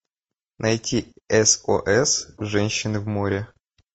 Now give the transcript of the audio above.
найти сос женщины в море